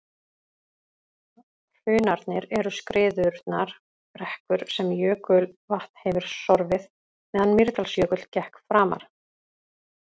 Hrunarnir eru skriðurunnar brekkur sem jökulvatn hefur sorfið meðan Mýrdalsjökull gekk framar.